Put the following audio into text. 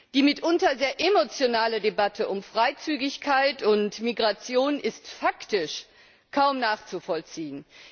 Die mitunter sehr emotionale Debatte um Freizügigkeit und Migration ist faktisch kaum nachzuvollziehen.